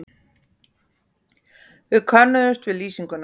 Við könnuðumst við lýsinguna.